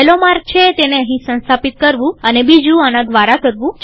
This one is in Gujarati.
પહેલો માર્ગ છે તેને અહીં સંસ્થાપિત કરવું અને બીજું આના દ્વારા કરવું